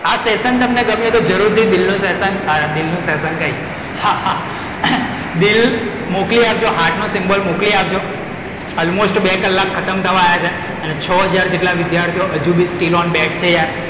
આ સેસન તમને ગમ્યું હોય તો જરૂરથી દિલ નું સેસન અરે દિલનું સેસન કઈ હા હા દિલ મોકલી આપજો, heart નું symbol મોકલી આપજો. almost બે કલાક ખતમ થવા આયા છે. અને છ હજાર જેટલા વિધ્યાર્થીઓ હજુ બી still on .